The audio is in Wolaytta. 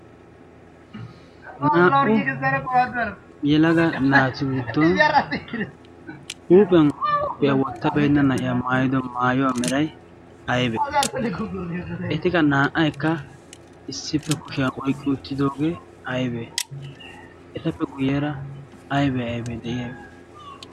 naa'u yelaga naati giddon huuphiyan koophiyaa wottabeenna na'iya maayido maayuwaa meray aybee etika naa'aykka issippe kushiyaa oyqqi ittidoogee aybee etappe guyyeera aybee aybee de''ees.